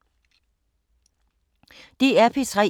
DR P3